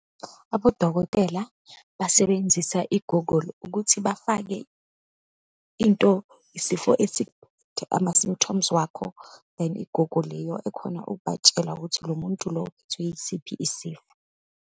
Abodokotela basebenzisa i-Google ukuthi bafake into isifo ama-symptoms wakho. Then i-Google yiyo ekhona ukubatshela ukuthi lo muntu lo uphethwe yisiphi isifo.